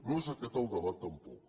no és aquest el debat tampoc